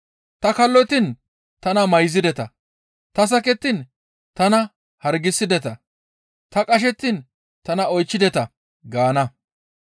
Ta kallottiin tana mayzideta; ta sakettiin tana hargisideta; ta qashettiin tana oychchideta› gaana.